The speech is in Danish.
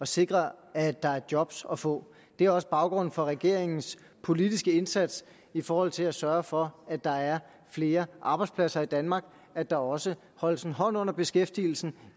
sikre at der er job at få det er også baggrunden for regeringens politiske indsats i forhold til at sørge for at der er flere arbejdspladser i danmark at der også holdes en hånd under beskæftigelsen